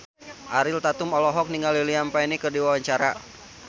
Ariel Tatum olohok ningali Liam Payne keur diwawancara